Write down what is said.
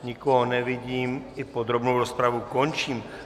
Nikoho nevidím, i podrobnou rozpravu končím.